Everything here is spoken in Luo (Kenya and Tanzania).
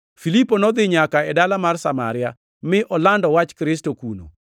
Filipo nodhi nyaka e dala mar Samaria mi olando Wach Kristo kuno.